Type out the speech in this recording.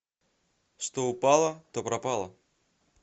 что упало то пропало